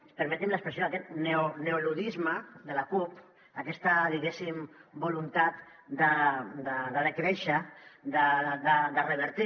permetin me l’expressió aquest neoluddisme de la cup aquesta diguéssim voluntat de decréixer de revertir